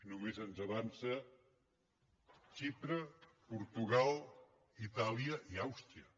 només ens avancen xipre portugal itàlia i àustria